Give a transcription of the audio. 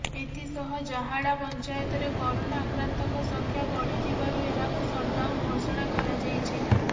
ଏଥିସହ ଜାହାଡ଼ା ପଞ୍ଚାୟତରେ କରୋନା ଆକ୍ରାନ୍ତଙ୍କ ସଂଖ୍ୟା ବଢ଼ିଥିବାରୁ ଏହାକୁ ସଟଡାଉନ୍ ଘୋଷଣା କରାଯାଇଛି